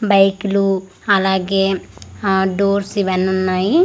బైక్లు అలాగే ఆ డోర్స్ ఇవ్వని ఉన్నాయి.